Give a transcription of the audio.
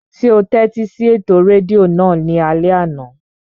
Ṣé o tẹ́tí sí ètò rédíò náà ní alẹ́ àná?